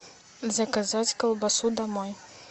заказать колбасу домой